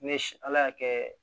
Ne si ala y'a kɛ